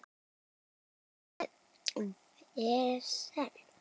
Ertu með vesen?